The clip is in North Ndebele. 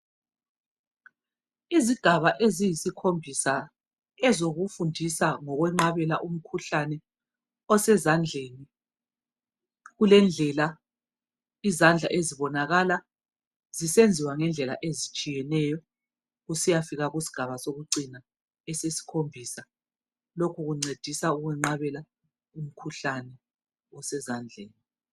Izigaba eziyisikhombisa ezokifundisa ngokwenqabela umkhuhlane osezandleni. Kulendlela izandla ezibonakala ngayo ezibonakala zisenziwa ngendlela ezihlukeneyo kusiyafika kusigaba sokucina esesikhombisa lokhu kumncedisa ukwenqabela umkhuhlane osezandleni.